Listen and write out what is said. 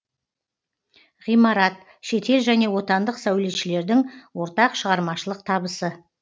ғимарат шетел және отандық сәулетшілердің ортақ шығармашылық табысы